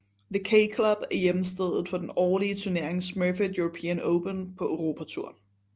The K Club er hjemsted for den årlige turnering Smurfit European Open på Europatouren